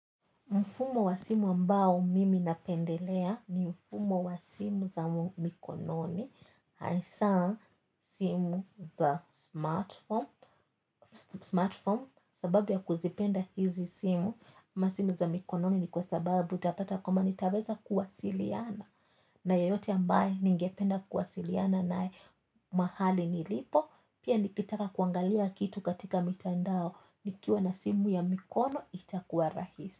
Mfumo wa simu ambao mimi napendelea ni mfumo wa simu za mikononi, hasa simu za smartphone, sababu ya kuzipenda hizi simu, ama simu za mikononi ni kwa sababu utapata kuma nitaweza kuwasiliana, na yoyote ambaye ningependa kuwasiliana naye mahali nilipo, pia nikitaka kuangalia kitu katika mitandao, nikiwa na simu ya mikono itakuwa rahisi.